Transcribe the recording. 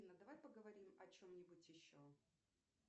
давай поговорим о чем нибудь еще